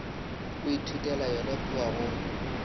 o ithutela yona kua go